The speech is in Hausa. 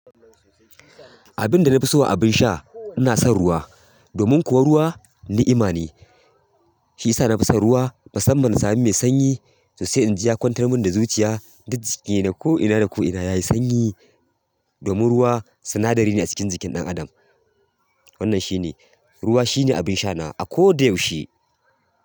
Abinda nafi so a abin sha, ina son ruwa. Domin kuwa ruwa ni'ima ne, shi ya sa na fi son ruwa. Musamman in sami mai sanyi sosai in ji ya kwantar min da zuciya duk jiki na ko'ina da ko'ina yayi sanyi. Domin ruwa sinadari ne a cikin jikin ɗan adam. Wannan shi ne, ruwa shi ne abin sha na a ko da yaushe.